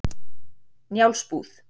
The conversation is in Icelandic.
Njálsbúð